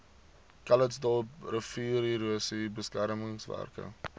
calitzdorp riviererosie beskermingswerke